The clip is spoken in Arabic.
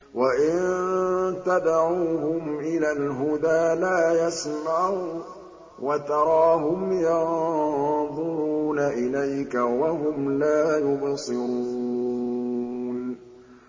وَإِن تَدْعُوهُمْ إِلَى الْهُدَىٰ لَا يَسْمَعُوا ۖ وَتَرَاهُمْ يَنظُرُونَ إِلَيْكَ وَهُمْ لَا يُبْصِرُونَ